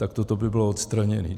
Tak toto by bylo odstraněné.